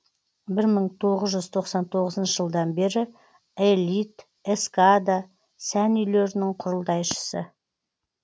бір мың тоғыз жүз тоқсан тоғызыншы жылдан бері элит эскада сән үйлерінің құрылтайшысы